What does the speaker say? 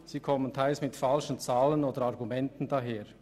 Sie kommen teilweise mit falschen Zahlen oder Argumenten daher.